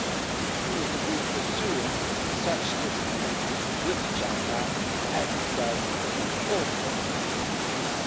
The EU is indeed pursuing such disciplines with China, as it does in all its agreements.